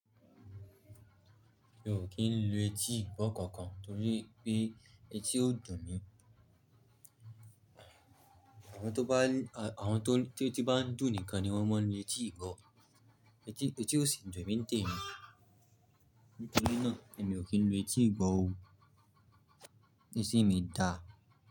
Mi ò kí ń lu etí ìgbọ́ kankan nítorí pé etí ó dùn mí. Àwọn tó bá, àwọn tó, tetí bá ń dùn nìkan ni wọ́n máa ń lu etí ìgbọ́. Etí, etí ó sì ń dùn emí ntẹ́mí. Nítorí náà ni mi ò kí ń lo etí ìgbọ́ ohun. Eti mi dà?